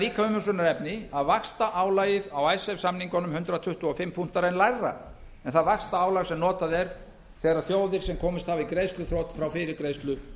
líka umhugsunarefni að vaxtaálagið á samningunum hundrað tuttugu og fimm punktar er lægra en það vaxtaálag sem notað er þegar þjóðir sem komist hafa í greiðsluþrot fá fyrirgreiðslu